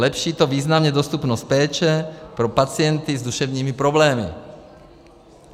Zlepší to významně dostupnost péče pro pacienty s duševními problémy.